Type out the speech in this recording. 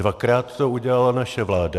Dvakrát to udělala naše vláda.